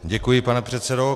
Děkuji, pane předsedo.